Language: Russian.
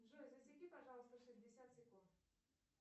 джой засеки пожалуйста шестьдесят секунд